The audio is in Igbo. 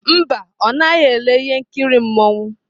Mba, ọ naghị ele ihe nkiri mmanwụ.